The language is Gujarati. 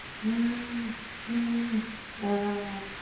હમ હમ આહ